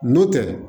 N'o tɛ